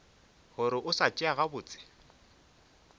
gore o sa tšea gabotse